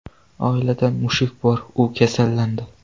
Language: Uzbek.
Oilda mushuk bor, u kasallandi.